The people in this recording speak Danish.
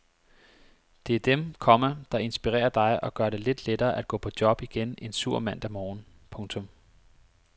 Det er dem, komma der inspirerer dig og gør det lidt lettere at gå på job igen en sur mandag morgen. punktum